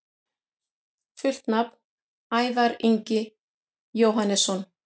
Fullt nafn: Ævar Ingi Jóhannesson